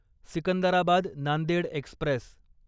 Secunderabad Nanded Express